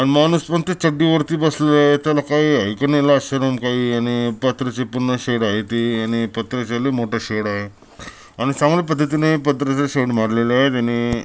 हा माणूस चड्डी वरती बसलेले आहे त्याला काही लाज शरम काही आहे का नाही येणे पत्र्या ची शेड आहे ते येणे पत्राचा मोठ शेड आहे आणि चांगल्या पद्धतीने पत्र्याचे शेड मारलेले आहे त्यानी.